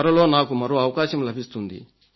త్వరలో నాకు మరో అవకాశం లభిస్తుంది